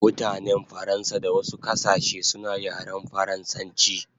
Mutanen Faransa da wasu kasashe suna yaren faransanchi